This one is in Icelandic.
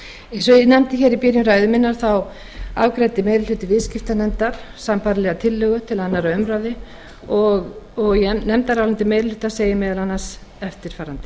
og ég nefndi í byrjun ræðu minnar afgreiddi meiri hluti viðskiptanefndar sambærilega tillögu til síðari umræðu í nefndaráliti meiri hlutans segir meðal annars eftirfarandi